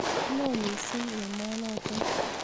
Lo missing' emo notok